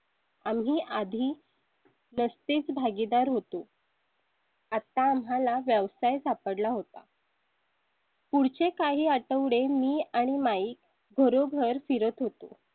आम्ही आधी. नसतेच भागीदार होतो . आता आम्हाला व्यवसाय सापडला होता पुढचे काही आठवडे मी आणि mike घरोघर फिरत होतो.